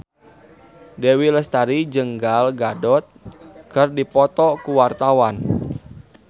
Dewi Lestari jeung Gal Gadot keur dipoto ku wartawan